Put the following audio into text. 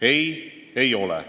Ei, ei ole.